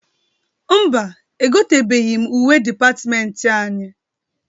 Mba, egotebeghi m uwe dịpatịmentị anyị.